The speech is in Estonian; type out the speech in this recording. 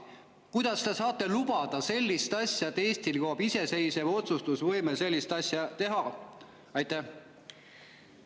Kuidas te saate lubada sellist asja, et Eestil kaob iseseisev otsustusvõime sellist asja teha?